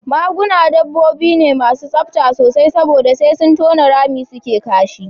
Maguna dabbobi ne masu tsafta sosai saboda sai sun tona rami suke kashi